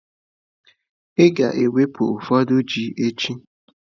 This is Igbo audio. Ị ga-ewe ụfọdụ ji echi.